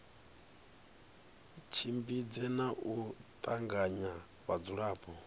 tshimbidze na u tanganya vhadzulapo